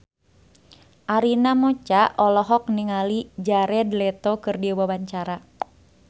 Arina Mocca olohok ningali Jared Leto keur diwawancara